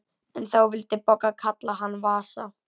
En þá vildi Bogga kalla hann Vasa.